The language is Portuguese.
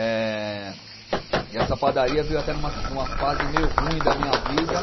Eh e essa padaria veio até no mas, numa fase meio ruim da minha vida.